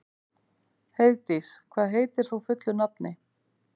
Heiðdís, hvað heitir þú fullu nafni?